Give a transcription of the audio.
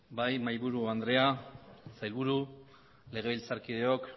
bai mahaiburu andrea sailburu legebiltzarkideok